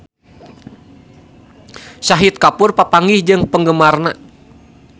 Shahid Kapoor papanggih jeung penggemarna